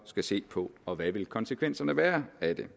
skal se på og hvad vil konsekvenserne være af det